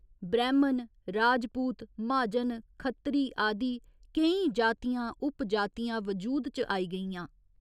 ब्रैह्‌मण, राजपूत, म्हाजन, खत्तरी आदि केईं जातियां उपजातियां वजूद च आई गेइयां।